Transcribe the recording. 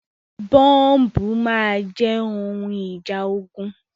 Bọ́ǹbù máa jẹ́ ohun ìjà ogun.